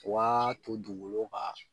Waa to dugukolo ka